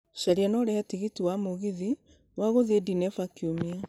caria na ũrĩhe tigiti wa mũgithi wa gũthiĩDenver kiũmia